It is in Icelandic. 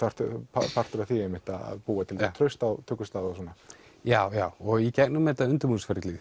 partur af því einmitt að búa til traust á tökustað og svona já já og gegnum þetta